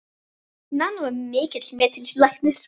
Nanna var mikils metinn læknir.